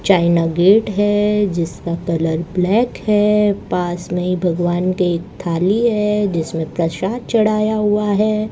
China gate है जिसका colour black है पास में भगवान के एक थाली है जिसमें प्रसाद चढ़ाया हुआ है।